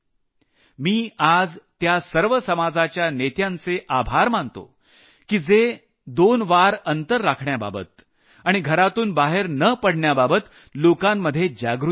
मी आज त्या सर्व समाजाच्या नेत्यांचे आभार मानतो की जे दोन फूट अंतर राखण्याबाबत आणि घरातून बाहेर न पडण्याबाबत लोकांमध्ये जागृती करत आहेत